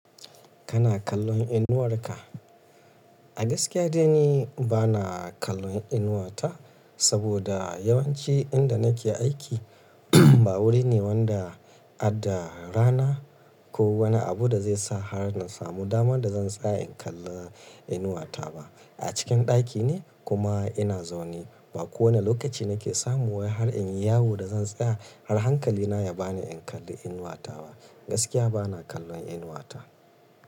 Kana kallon inuwarka? A gaskiya dai ni bana kallon inuwata saboda yawanci inda nake aiki ba wuri ne wanda adda rana ko wani abu da zai sa har na samu damar da zan tsaya in kalla inuwata ba. A cikin ɗaki ne kuma ina zaune. Ba kowane lokaci nake samuwa har in yi yawu da zan tsaya har hankalina ya bani in kalli inuwata ba. Gaskiya bana kallon inuwata.